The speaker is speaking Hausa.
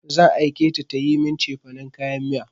Zan aike ta tayi min cefanin kayan miya.